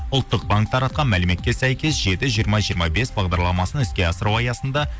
ұлттық банк таратқан мәліметке сәйкес жеті жиырма жиырма бес бағдарламасын іске асыру аясында